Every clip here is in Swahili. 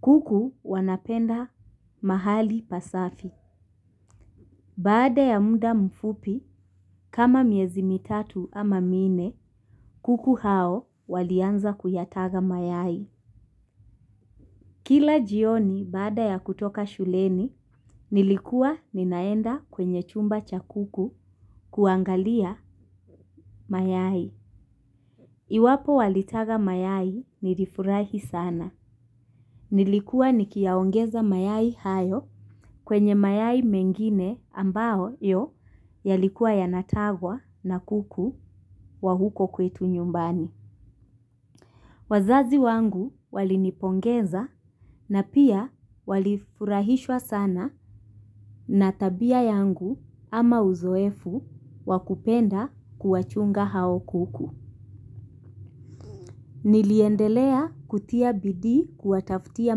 Kuku wanapenda mahali pasafi. Baada ya muda mfupi, kama miezi mitatu ama minne, kuku hao walianza kuyataga mayai. Kila jioni baada ya kutoka shuleni nilikuwa ninaenda kwenye chumba cha kuku kuangalia mayai. Iwapo walitaga mayai nilifurahi sana. Nilikuwa nikiyaongeza mayai hayo kwenye mayai mengine ambao yo yalikuwa yanatagwa na kuku wa huko kwetu nyumbani. Wazazi wangu walinipongeza na pia walifurahishwa sana na tabia yangu ama uzoefu wa kupenda kuwachunga hao kuku. Niliendelea kutia bidii kuwataftia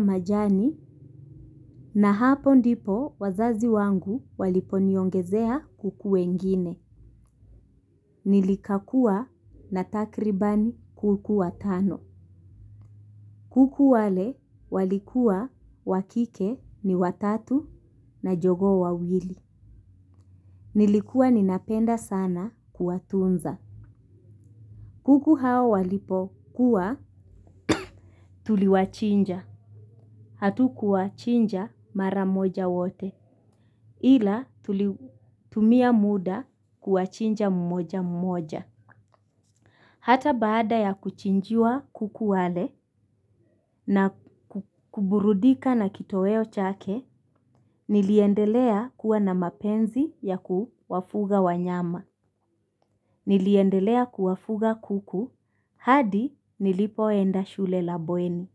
majani na hapo ndipo wazazi wangu waliponiongezea kuku wengine. Nilikakua na takriban kuku watano. Kuku wale walikuwa wa kike ni watatu na jogoo wawili. Nilikuwa ninapenda sana kuwatunza. Kuku hao walipokuwa tuliwachinja. Hatukuwachinja mara moja wote ila tumia muda kuwachinja mmoja mmoja. Hata baada ya kuchinjiwa kuku wale na kuburudika na kitoweo chake, niliendelea kuwa na mapenzi ya kuwafuga wanyama. Niliendelea kuwafuga kuku, hadi nilipoenda shule la bweni.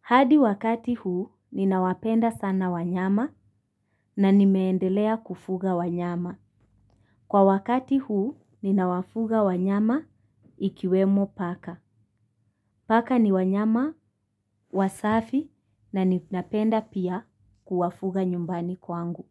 Hadi wakati huu, ninawapenda sana wanyama na nimeendelea kufuga wanyama. Kwa wakati huu, ninawafuga wanyama ikiwemo paka. Paka ni wanyama, wasafi na ninapenda pia kuwafuga nyumbani kwangu.